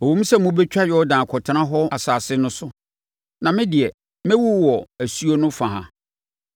Ɛwom sɛ mobɛtwa Yordan akɔtena hɔ asase no so, na me deɛ, mɛwu wɔ asuo no fa ha.